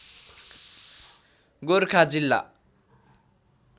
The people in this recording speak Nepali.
गोरखा जिल्ला